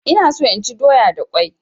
Ina so inchi doya da kwai